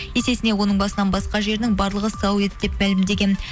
есесіне оның басынан басқа жерінің барлығы сау еді деп мәлімдеген